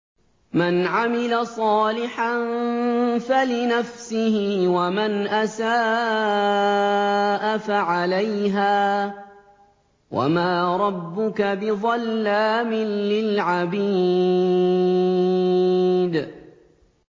مَّنْ عَمِلَ صَالِحًا فَلِنَفْسِهِ ۖ وَمَنْ أَسَاءَ فَعَلَيْهَا ۗ وَمَا رَبُّكَ بِظَلَّامٍ لِّلْعَبِيدِ